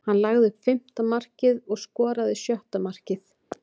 Hann lagði upp fimmta markið og skoraði sjötta markið.